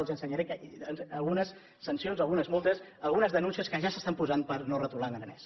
els ensenyaré algunes sancions algunes multes algunes denúncies que ja s’estan posant per no retolar en aranès